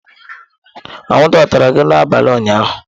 Anwụnta ọ tara gị n'abalị ụnyaahụ?